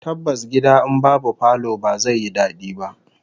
Tabbas gida in babu falo ba zai yi dadi ba